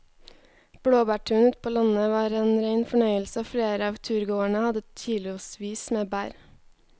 Blåbærturen ute på landet var en rein fornøyelse og flere av turgåerene hadde kilosvis med bær.